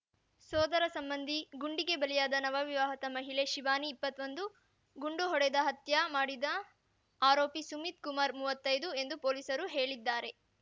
ಸೋದರ ಸಂಬಂಧಿ ಗುಂಡಿಗೆ ಬಲಿಯಾದ ನವವಿವಾಹಿತ ಮಹಿಳೆ ಶಿವಾನಿ ಇಪ್ಪತ್ತೊಂದು ಗುಂಡು ಹೊಡೆದ ಹತ್ಯ ಮಾಡಿದ ಆರೋಪಿ ಸುಮಿತ್ ಕುಮಾರ್ ಮುವತ್ತೈದು ಎಂದು ಪೊಲೀಸರು ಹೇಳಿದ್ದಾರೆ